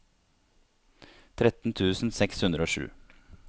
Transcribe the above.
tretten tusen seks hundre og sju